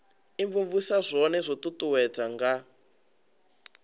imvumvusa zwone zwo uuwedzwa nga